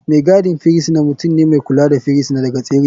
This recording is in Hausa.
Mai gadin firisina mutum ne mai kula da firisina daga tserewa.